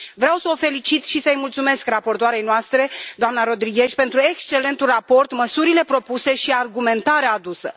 Vreau să o felicit și să i mulțumesc raportoarei noastre, doamna Rodriguez, pentru excelentul raport, măsurile propuse și argumentarea adusă.